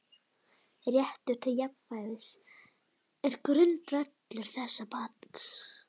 Réttur til jafnræðis er grundvöllur þessa banns.